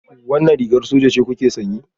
Wannan rigar soja ce kuke sanye?